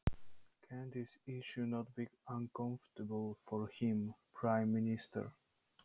Getur þetta mál ekki orðið honum óþægilegt, forsætisráðherranum?